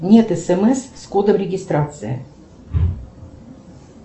нет смс с кодом регистрации